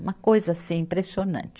Uma coisa, assim, impressionante.